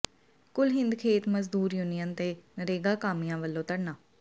ਕੁੱਲ ਹਿੰਦ ਖੇਤ ਮਜ਼ਦੂਰ ਯੂਨੀਅਨ ਤੇ ਨਰੇਗਾ ਕਾਮਿਆਂ ਵੱਲੋਂ ਧਰਨਾ